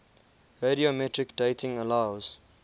radiometric dating allows